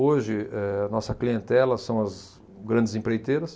Hoje, eh, nossa clientela são as grandes empreiteiras,